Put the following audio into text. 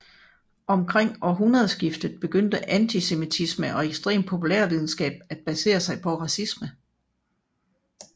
Omkring århundredeskiftet begyndte antisemitismen og ekstrem populærvidenskab at basere sig på racisme